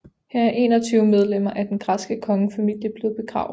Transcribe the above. Her er 21 medlemmer af den græske kongefamilie blevet begravet